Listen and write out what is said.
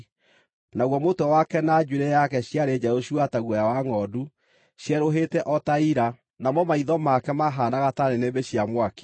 Naguo mũtwe wake na njuĩrĩ yake ciarĩ njerũ cua ta guoya wa ngʼondu, cierũhĩte o ta ira, namo maitho make maahaanaga ta nĩnĩmbĩ cia mwaki.